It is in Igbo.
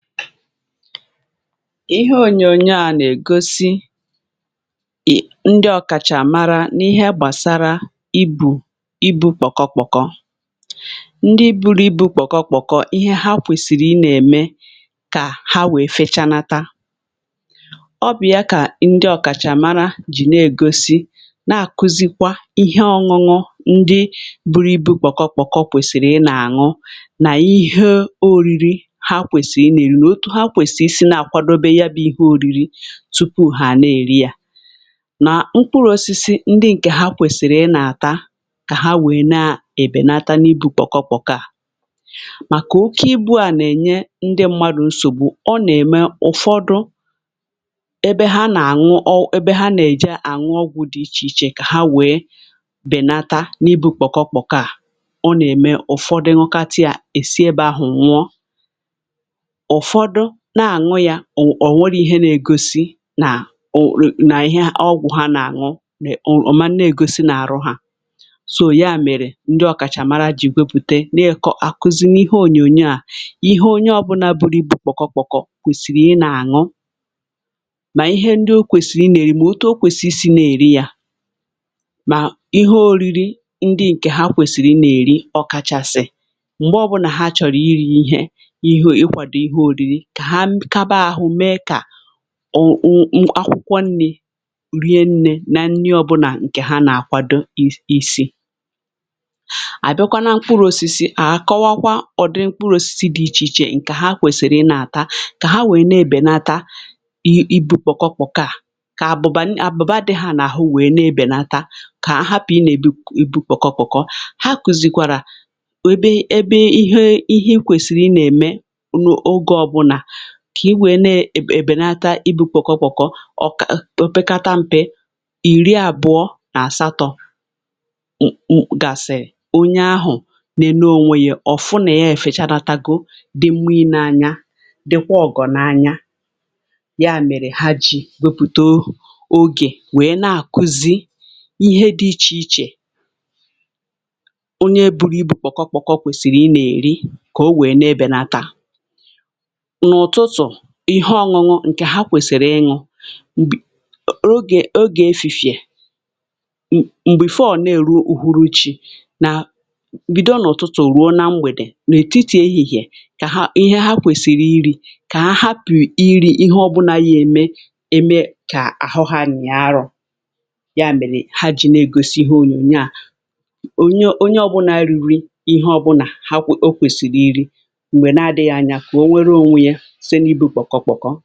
Ihe ònyònyo a nà-ègosi ndị ọ̀kàchà màrà n’ihe gbàsara ibù ibu̇ kpọkọ kpọkọ. Ndị buru ibu̇ kpọkọ kpọkọ, ihe ha kwèsìrì i nà-ème kà ha wèe fechanata ọ bụ̀ ya kà ndị ọ̀kàchà àmara jì na-ègosi na-àkụzikwa ihe ọṅụṅụ ndị buru ibu̇ kpọkọ kpọkọ kwèsìrì ị nà-àṅụ nà ihe oriri ihe à bụ̀ ihe oriri tupu ha na-eri yà na mkpụrụ osisi ndị ǹkè ha kwèsìrì ị nàtà kà ha wèe na-èbènata n’ibù kpọkọkpọkọ à màkà oke ibu à nà-ènye ndị mmadụ̀ nsògbu ọ nà-ème ụ̀fọdụ ebe ha nà-àṅụ ọ ebe ha nà-èje àṅụ ọgwụ̇ dị̀ ichè ichè kà ha wèe bènata n’ibù kpọkọkpọkọ à ọ nà-ème ụ̀fọdụ nụkatià èsiebe ahụ̀ nwụọ. Ụfọdụ na-anụ ya, o nwere ihe na-egosi nà òrò nà ihe ọgwụ̀ ha na-àṅụ nè o oman na-egosi nà-àhụ hȧ so ya mèrè ndị ọ̀kàchàmara ji wepùte na-akọ àkụzị n’ihe ònyònyo à ihe onye ọ̀bụla bụrụ ibù kpọ̀kọ kpọ̀kọ kwèsìrì ịnà-àṅụ mà ihe ndị o kwèsìrì i nà-èrì mà o too kwesisi na-èri yȧ mà ihe òriri ndị ǹkè ha kwèsìrì i nà-èri ọkachàsị̇ m̀gbe ọbụlà ha chọ̀rọ̀ iri̇ ihe kà ha kaba ahụ mee kà ọ ọ ṅ̀akwụkwọ nni̇ rie nnė na nni ọbụna ǹkè ha nà-àkwado ịs ị̀sị. Abịakwa nà mkpụrụ̇osisi à à kọwakwa ọ̀dịrị mkpụrụ̇osisi dị̇ ichè ichè ǹkè ha kwèsìrì ị nà-àta kà ha nwèrè na-ebènatȧ i ibu kpokọ kpọ ka àbụ̀bà àbụ̀bà ndị àbụ̀bà dị̇ ha nà-àhụ nwèrè na-ebènata kà ha hapụ̀ ị nà-èbi ibu kpokọ kpọkọ ha kùzìkwàrà ebe ebe ihe ihe ihe ekwèsìrì ị nà-ème oge ọbụna kà i wèe ne-e.. èbènata ibu̇ kpọkọ kpọkọ ọkà o pekata mpe ìri àbụọ nà àsatọ̇ m m gasị̀rị onye ahụ̀ nenėe ònwe ya ọ̀ fụ na yefèchanatago dị mma ine anya dịkwa ọgọ̀ n’anya. Ya mèrè ha ji wepùto ogè wee na-àkụzi ihe dị ichè ichè onye buru ibu̇ kpọkọ kpọkọ kwèsìrì ịnȧ-èri kà o wee nė ebènata, n'ụtụtụ, ihe ọṅụṅụ ǹkè ha kwèsịrị ịṅụ̇ m̀bì ogè ogè efìfìè m̀gbè fọ̀ ọ na-èru n'ùhuru chi nà mbìdo ǹ’ụ̀tụtụ̀ ruo na mgbèdè n’ètitì ehihìè kà ha ihe ha kwèsịrị iri̇ kà ha hapù iri̇ ihe ọbụna yème ème kà àhọ ha nị̀a arọ̇ ya mèrè ha ji na-egosi ihe ònyònyo à ònye onye ọbụna iri ihe ọbụnà ha eme ka ahụ ha nyịa arụ ha kwèsìrì iri̇ m̀gbè na-adɪ̇ ya anyȧ kù o nwere ònwe ya site n'ibu kpọkọ kpọkọ.